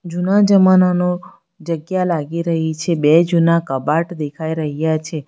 જુના જમાનાનો જગ્યા લાગી રહી છે બે જૂના કબાટ દેખાઈ રહ્યા છે.